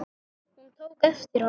Hún tók eftir honum!